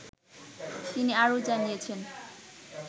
তিনি আরও জানিয়েছেন